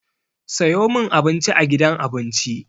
Sayo min Abinci a gidan abinci!